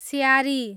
स्यारी